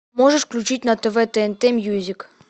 можешь включить на тв тнт мьюзик